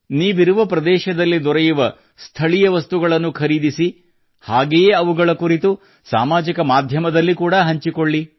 ನೀವಿರುವ ಪ್ರದೇಶದಲ್ಲಿ ದೊರೆಯುವ ಸ್ಥಳೀಯ ವಸ್ತುಗಳನ್ನು ಖರೀದಿಸಿ ಹಾಗೆಯೇ ಅವುಗಳ ಕುರಿತು ಸಾಮಾಜಿಕ ಮಾಧ್ಯಮದಲ್ಲಿ ಹಂಚಿಕೊಳ್ಳಿ